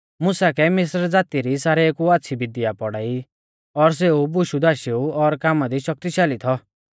मुसा कै मिस्र ज़ाती री सारेउ कु आच़्छ़ी विधया पौढ़ाई और सेऊ बुशुधाशेऊ और कामा दी शक्तिशाल़ी थौ